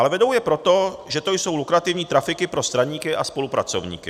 Ale vedou je proto, že to jsou lukrativní trafiky pro straníky a spolupracovníky.